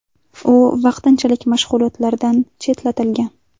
U vaqtinchalik mashg‘ulotlardan chetlatilgan.